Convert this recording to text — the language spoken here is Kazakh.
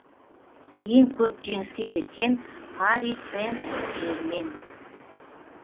ең көп жеңіске жеткен пари сен жермен